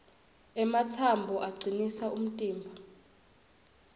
ematsambo acinisa umtimba